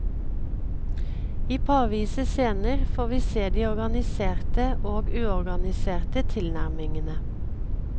I parvise scener får vi se de organiserte og uorganiserte tilnærmingene.